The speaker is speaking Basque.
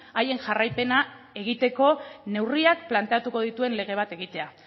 haien jarraipena egiteko neurriak planteatuko dituen lege bat egitea